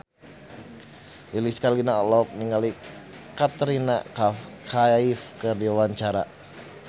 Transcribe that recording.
Lilis Karlina olohok ningali Katrina Kaif keur diwawancara